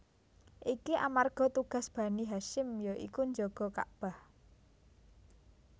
Iki amarga tugas Bani Hasyim ya iku njaga Kakbah